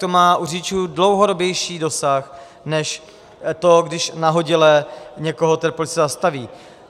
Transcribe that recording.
To má u řidičů dlouhodobější dosah než to, když nahodile někoho ten policista zastaví.